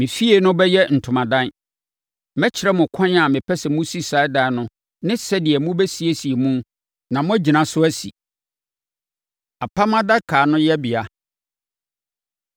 Me fie no bɛyɛ ntomadan. Mɛkyerɛ mo ɛkwan a mepɛ sɛ mosi saa dan no ne sɛdeɛ mobɛsiesie mu na moagyina so asi. Apam Adaka No Yɛbea